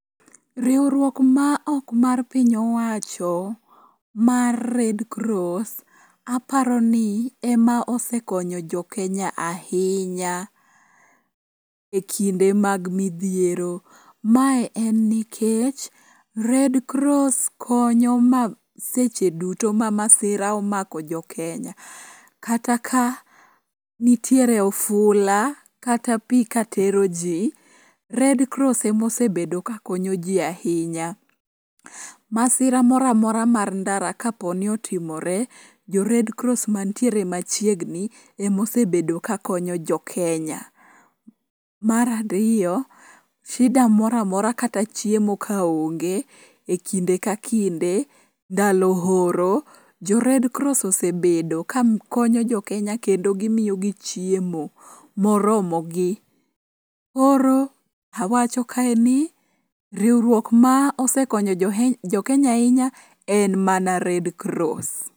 Riwruok maok ma piny owacho mar red cross aparo ni ema osekonyo jo Kenya ahinya e kinde mag midhiero. Mae en nikech red cross konyo seche duto ma masira omako jokenya kata ka nitiere ofula kata pi katero ji, red cross emosebedo ka konyo ji ahinya. Masira moro amora mar ndara kapo ni otimore jo red cross mantiere machiegni emosebedo ka konyo jokenya. Mar ariyo, shida moro amora kata chiemo kaonge e kinde ka kinde ndalo oro, jo red cross osebedo ka konyo jokenya kendo gimiyogi chiemo moromogi. Koro awacho kae ni riwruok ma osekonyo jokenya ahinya en mana red cross.